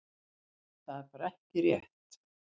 Þetta er bara ekki rétt.